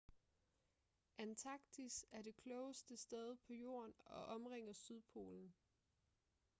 antarktis er det koldeste sted på jorden og omringer sydpolen